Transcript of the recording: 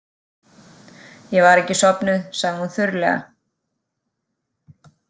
Ég var ekki sofnuð, sagði hún þurrlega.